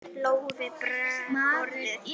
Lóu við borðið.